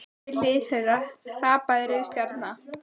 Við hlið þeirra hrapaði rauð stjarna.